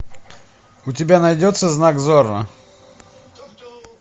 у тебя найдется знак зорро